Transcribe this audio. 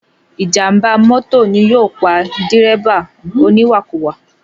Ìjàm̀bá mọ́tò ni yóò pa dírẹ́bà oníwàkuwà.